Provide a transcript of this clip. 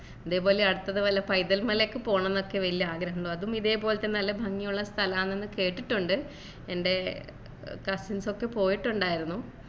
ഇതേപോലെ അടുത്തത് വല്ല പൈതൽ മലയൊക്കെ പോണം ന്നൊക്കെ വല്യ ആഗ്രഹം അതും ഇതേ പോലെത്തന്നെ നല്ല ഭംഗിയുള്ള സ്ഥലാന്ന് കേട്ടിട്ടുണ്ട് എൻ്റെ cousins ഒക്കെ പോയിട്ടുണ്ടായിരുന്നു